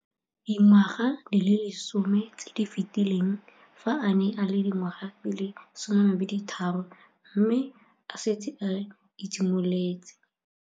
Dingwaga di le 10 tse di fetileng, fa a ne a le dingwaga di le 23 mme a setse a itshimoletse.